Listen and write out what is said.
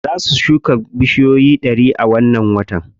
Za su shuka bushiyoyi ɗari a wannan watan.